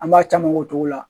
An b'a caman k'o cogo la